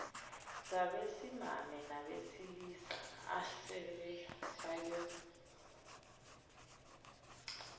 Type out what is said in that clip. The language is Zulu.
zabesimame nabesilisa asebefake